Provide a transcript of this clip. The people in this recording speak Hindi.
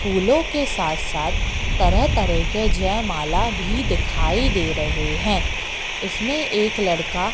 फूलों के साथ साथ तरह तरह के जयमाला भी दिखाई दे रहे हैं इसमें एक लड़का--